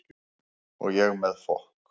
Og ég með fokk